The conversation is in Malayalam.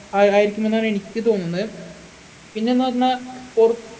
ആ ആയിരിക്കുമെന്നാണ് എനിക്ക് തോന്നുന്നെ പിന്നെന്നു പറഞ്ഞാ പൊറു